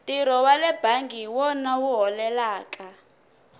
ntirho wale bangi hi wona wu holelaka